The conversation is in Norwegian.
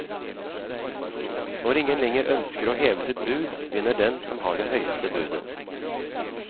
Når ingen lenger ønsker å heve sitt bud, vinner den som har det høyeste budet.